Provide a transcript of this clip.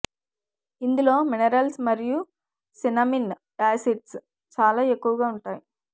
ఇందులో మినిరల్స్ మరియు cinnamon acids చాలా ఎక్కువగా ఉంటాయి